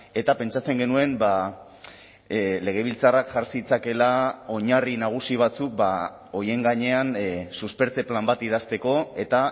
eta pentsatzen genuen legebiltzarrak jar zitzakeela oinarri nagusi batzuk horien gainean suspertze plan bat idazteko eta